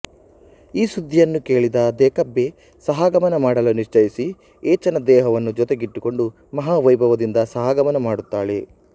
ಈ ಸುದ್ಧಿಯನ್ನು ಕೇಳಿದ ದೇಕಬ್ಬೆ ಸಹಗಮನ ಮಾಡಲು ನಿಶ್ಚಯಿಸಿ ಏಚನ ದೇಹವನ್ನು ಜೊತೆಗಿಟ್ಟುಕೊಂಡು ಮಹಾವೈಭವದಿಂದ ಸಹಗಮನ ಮಾಡುತ್ತಾಳೆ